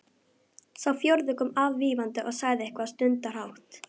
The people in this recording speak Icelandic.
Hann var að byrja að jafna sig eftir martröðina.